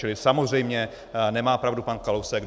Čili samozřejmě nemá pravdu pan Kalousek.